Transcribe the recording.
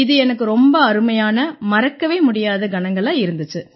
இது எனக்கு ரொம்ப அருமையான மறக்கவே முடியாத கணங்களா இருந்திச்சு